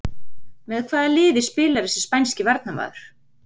Með hvaða liði spilar þessi spænski varnarmaður?